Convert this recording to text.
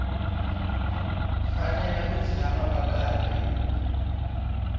fanele ku tshama va karhi